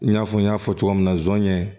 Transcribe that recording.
I n'a fɔ n y'a fɔ cogoya min na zonɲɛ